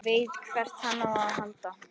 Veit hvert hann á að halda.